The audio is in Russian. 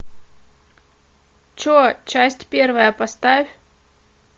че часть первая поставь